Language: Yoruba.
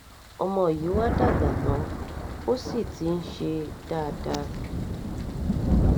ọmọ yìí wàá dàgbà tán o sì ti ń ṣe dáadáa